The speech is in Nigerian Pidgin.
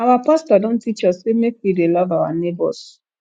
our pastor don teach us sey make we dey love our nebors